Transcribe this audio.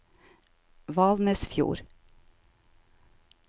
Valnesfjord